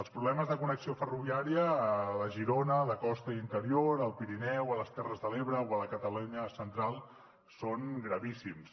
els problemes de connexió ferroviària a la girona de costa i interior al pirineu a les terres de l’ebre o a la catalunya central són gravíssims